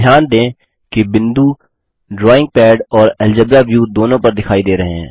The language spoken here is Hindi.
ध्यान दें कि बिंदु ड्राइंग पैड और अलजेब्रा व्यू दोनों पर दिखाई दे रहे हैं